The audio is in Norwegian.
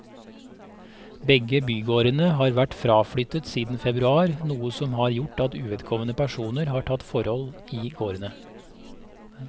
Begge bygårdene har vært fraflyttet siden februar, noe som har gjort at uvedkommende personer har tatt tilhold i gårdene.